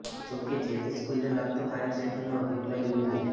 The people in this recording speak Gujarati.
જોકે જે તે સ્કૂલને લગતો ફાયર સેફ્ટીનો અભિપ્રાય મ્યુનિ